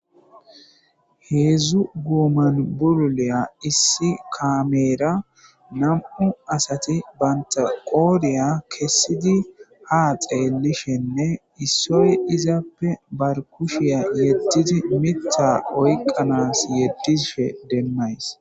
heedzdzu guuman bululeya issi kameera nam7u asati bantaqooriya kessidi ha xeelishenne issoy izaappe bar kushiya yeddidi mita oyqanas yeddishe demmays